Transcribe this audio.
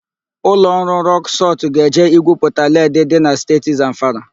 Ụlọ ọrụ Rọk Sọlt ga-eje igwuputa led dị na Steeti Zamfara.